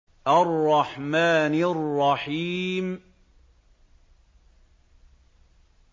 الرَّحْمَٰنِ الرَّحِيمِ